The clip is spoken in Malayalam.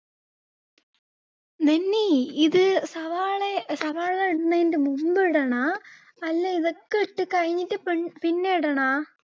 നന്നി, ഇത് ഏർ സവാള സവാള എന്നതിന്റെ മുമ്പ് ഇടണോ, അല്ല ഇതൊക്കെ ഇട്ടു കഴിഞ്ഞിട്ട് പിന്നെ ഇടണോ